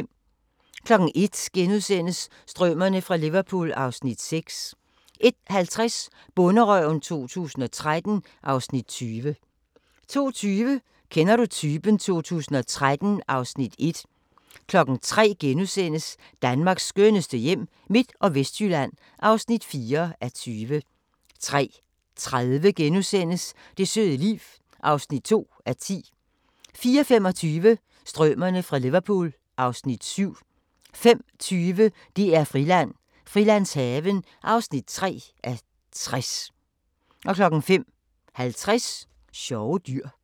01:00: Strømerne fra Liverpool (Afs. 6)* 01:50: Bonderøven 2013 (Afs. 20) 02:20: Kender du typen 2013 (Afs. 1) 03:00: Danmarks skønneste hjem – Midt- og Vestjylland (4:20)* 03:30: Det søde liv (2:10)* 04:25: Stømerne fra Liverpool (Afs. 7) 05:20: DR-Friland: Frilandshaven (3:60) 05:50: Sjove dyr